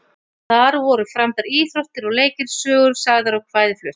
Þar voru framdar íþróttir og leikir, sögur sagðar og kvæði flutt.